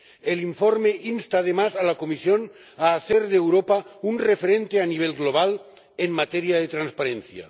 El informe insta, además, a la Comisión a hacer de Europa un referente a nivel global en materia de transparencia.